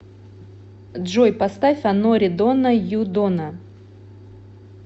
джой поставь анори дона ю дона